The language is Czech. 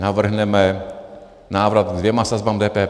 Navrhneme návrat ke dvěma sazbám DPH.